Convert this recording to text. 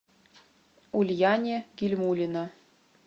ульяне гильмуллина